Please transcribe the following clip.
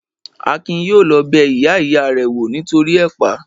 Akin yóò lọ bẹ ìyá ìya rẹ̀ wò nítoríi ẹ̀pà